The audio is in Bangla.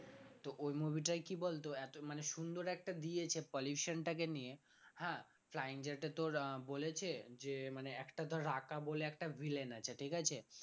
তো ওই movie টাই কি বলতো এত মানে সুন্দর একটা দিয়েছে pollution টাকে নিয়ে হ্যাঁ flying জাট এ তোর আহ বলেছে যে মানে একটা ধর রাকা বলে একটা villain আছে ঠিক আছে?